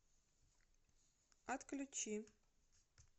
отключи